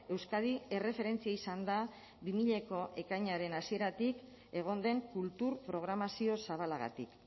euskadi erreferentzia izan da bi milako ekainaren hasieratik egon den kultur programazio zabalagatik